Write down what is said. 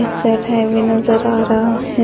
एक सैफे भी नजर आ रहा है।